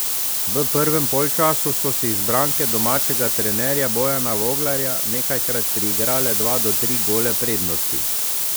V prvem polčasu so si izbranke domačega trenerja Bojana Voglarja nekajkrat priigrale dva do tri gole prednosti.